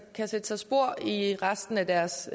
kan sætte sig spor i resten af deres